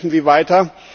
Kämpfen Sie weiter!